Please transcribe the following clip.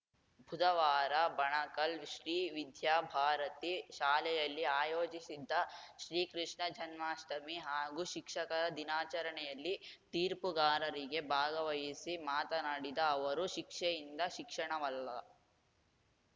ಬುಧವಾರ ಬಣಕಲ್‌ ಶ್ರೀವಿದ್ಯಾಭಾರತಿ ಶಾಲೆಯಲ್ಲಿ ಆಯೋಜಿಸಿದ್ದ ಶ್ರೀಕೃಷ್ಣ ಜನ್ಮಾಷ್ಟಮಿ ಹಾಗೂ ಶಿಕ್ಷಕರ ದಿನಾಚರಣೆಯಲ್ಲಿ ತೀರ್ಪುಗಾರರಿಗಿ ಭಾಗವಹಿಸಿ ಮಾತನಾಡಿದ ಅವರು ಶಿಕ್ಷೆಯಿಂದ ಶಿಕ್ಷಣವಲ್ಲ